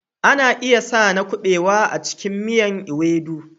Ana iya sa na kubewa a cikin miyan " ewedu